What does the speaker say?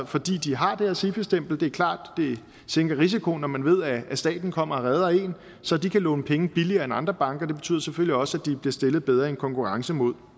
fordi de har det her sifi stempel det er klart at det sænker risikoen når man ved at staten kommer og redder en så de kan låne penge billigere end andre banker det betyder selvfølgelig også at de bliver stillet bedre i en konkurrence mod